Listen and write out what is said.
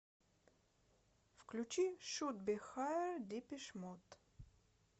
включи шуд би хайер депеш мод